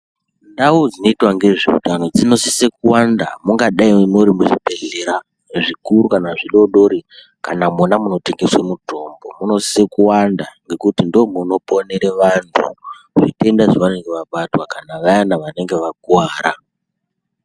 Ndau dzinoita nezvehutano dzinosisa kuwanda dzingadai dziri muzvibhedhlera zvikuru kana zvidodori kana Mona munotengeswa mutombo munosisa kuwanda ngekuti ndomunooonera vantu zvitenda zvavanenge vabatwa kana vayani vanenge vakuwara.